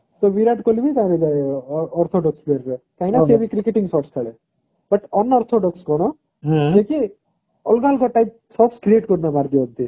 ତ ବିରାଟ କୋହଲି ବି ସେଥିରେ orthodox player ଯିବ କାହିଁକି ନା ସିଏ ବି cricketing shots ଖେଲେ but unorthodox କଣ ଯିଏ କି ଅଲଗା ଅଲଗା source type create କରିକି ମାରନ୍ତି